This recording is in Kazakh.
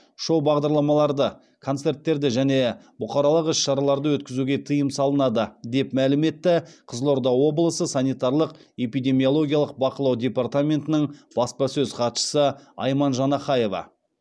шоу бағдарламаларды концерттерді және бұқаралық іс шараларды өткізуге тыйым салынады деп мәлім етті қызылорда облысы санитарлық эпидемиологиялық бақылау департаментінің баспасөз хатшысы айман жанахаева